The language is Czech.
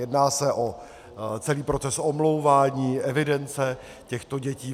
Jedná se o celý proces omlouvání, evidence těchto dětí.